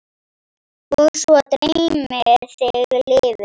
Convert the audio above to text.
Og svo dreymir þig lifur!